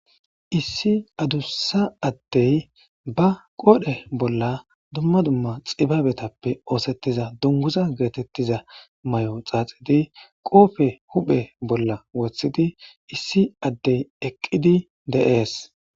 issi adussa addey ba qoodhe bolla dumma dumma xibaabetappe oosettiza dunguza geetettiza may7o xaaxidi qoofe huphe bolla wothidi issi addey eqqidi de7ees